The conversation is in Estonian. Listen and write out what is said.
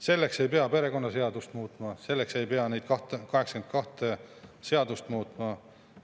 Selleks ei pea perekonnaseadust muutma, selleks ei pea neid 82 seadust muutma.